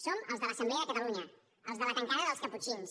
som els de l’assemblea de catalunya els de la tancada dels caputxins